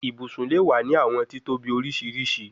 Ibusun le wa ni awọn titobi oriṣiriṣi